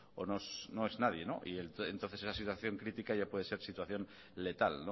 o no es nadie y entonces es la situación crítica ya puede ser situación letal